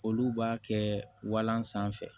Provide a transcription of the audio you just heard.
Olu b'a kɛ walan sanfɛ